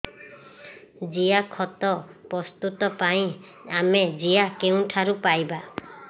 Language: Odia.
ଜିଆଖତ ପ୍ରସ୍ତୁତ ପାଇଁ ଆମେ ଜିଆ କେଉଁଠାରୁ ପାଈବା